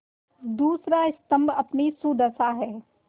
दूसरा स्तम्भ अपनी सुदशा है